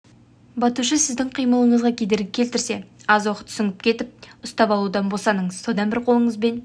батушы сіздің қимылыңызға кедергі келтірсе аз уақыт сүңгіп кетіп ұстап алудан босаныңыз содан бір қолыңызбен